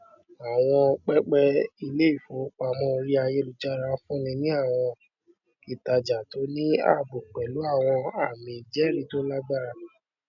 àwọn pẹpẹ iléìfowópamọ orí ayélujára fúnni ní àwọn ìtajà tó ní ààbò pẹlú àwọn ààmì ìjẹrìí tó lágbára